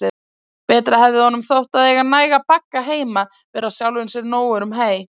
Betra hefði honum þótt að eiga næga bagga heima, vera sjálfum sér nógur um hey.